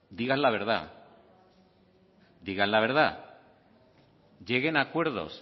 digan la verdad digan la verdad lleguen a acuerdos